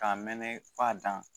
K'a mɛnɛ f'a dan